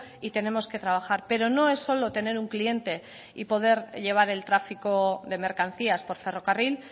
y tenemos que trabajar pero no es solo tener un cliente y poder llevar el tráfico de mercancías por ferrocarril